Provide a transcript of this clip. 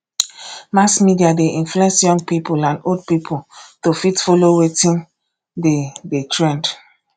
mass media de influence young pipo and old pipo to fit follow wetin de de trend